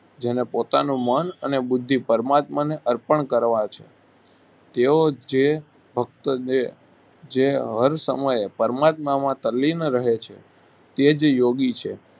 જેને પોતાનું મન અને બુદ્ધિ પરમાત્માને અર્પણ કરવા છે તેઓ જે ભકત છે જે હર સમયે પરમાત્મામાં તલ્લીન રહે છે તે જ યોગી છે